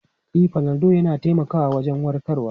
E, fanadol yana taimakawa wajen warkarwa.